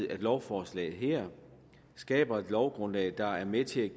at lovforslaget her skaber et lovgrundlag der er med til at